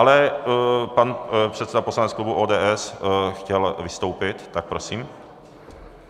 Ale pan předseda poslaneckého klubu ODS chtěl vystoupit, tak prosím.